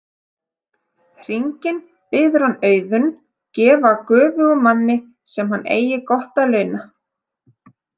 Hringinn biður hann Auðunn gefa göfugum manni sem hann eigi gott að launa.